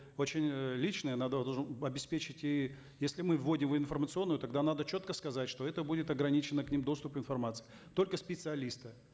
очень э личное надо обеспечить и если мы вводим в информационное тогда надо четко сказать что это будет ограниченный к ним доступ информации только специалисты